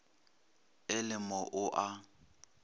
a le mo o a